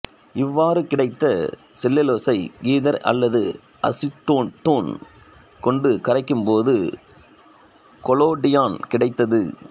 இவ்வாறு கிடைத்த செல்லுலோசை ஈதர் அல்லது அசிட்டோன் கொண்டு கரைக்கும் போது கொலோடியான் கிடைத்தது